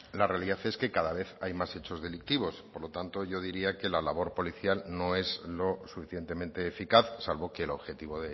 la realidad es que cada vez hay más hechos delictivos por lo tanto yo diría que la labor policial no es lo suficientemente eficaz salvo que el objetivo